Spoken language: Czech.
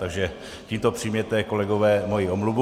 Takže tímto přijměte, kolegové, moji omluvu.